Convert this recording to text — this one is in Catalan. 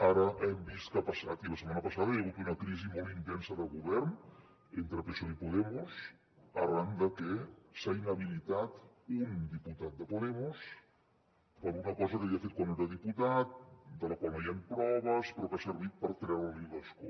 ara hem vist que ha passat i la setmana passada hi ha hagut una crisi molt intensa de govern entre psoe i podemos arran de que s’ha inhabilitat un diputat de podemos per una cosa que havia fet quan no era diputat de la qual no hi han proves però que ha servit per treure li l’escó